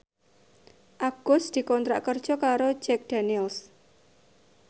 Agus dikontrak kerja karo Jack Daniels